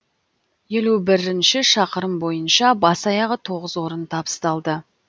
елу бірінші шақырым бойынша бас аяғы тоғыз орын табысталды